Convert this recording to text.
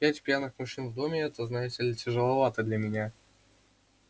пять пьяных мужчин в доме это знаете ли тяжеловато для меня